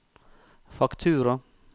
faktura